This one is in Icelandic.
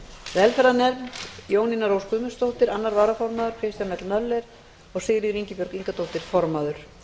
velferðarnefnd jónína rós guðmundsdóttir annar varaformaður kristján l möller og sigríður ingibjörg ingadóttir formaður